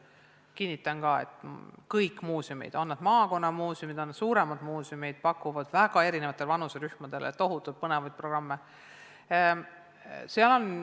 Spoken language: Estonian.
Kinnitan, et kõik muuseumid, olgu need maakonnamuuseumid või ka suuremad, pakuvad eri vanuserühmadele tohutult põnevaid programme.